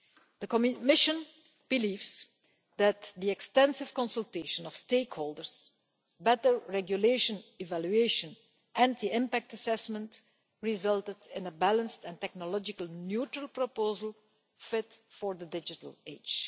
The Commission believes that the extensive consultation of stakeholders, better regulation evaluation and the impact assessment resulted in a balanced and technologically neutral proposal fit for the digital